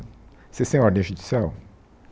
Vocês tem ordem judicial?